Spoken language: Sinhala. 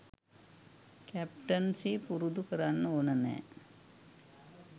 කැප්ටන්සි පුරුදු කරන්න ඕන නෑ